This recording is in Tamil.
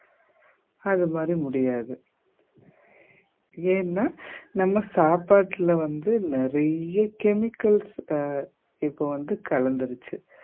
அது மாதிரி முடியாது ஏன்னா நம்ம சாப்பாட்டுல வந்து நிறைய chemicals அ இப்ப வந்து கலந்துருச்சு